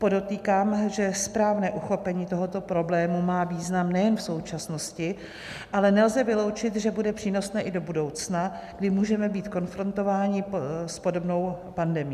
Podotýkám, že správné uchopení tohoto problému má význam nejen v současnosti, ale nelze vyloučit, že bude přínosné i do budoucna, kdy můžeme být konfrontováni s podobnou pandemií.